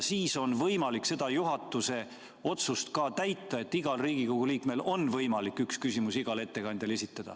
Siis on võimalik täita ka seda juhatuse otsust, et igal Riigikogu liikmel on võimalik esitada üks küsimus igale ettekandjale.